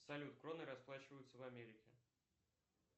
салют кроной расплачиваются в америке